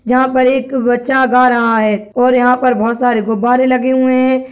जहाँ पर एक बच्चा गा रहा है और यहाँ पर बहोत सारे गुब्बारे लगे हुए हैं।